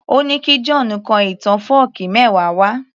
Ó ní kí John kọ ìtàn fọ́ọ̀kí mẹ́wa wá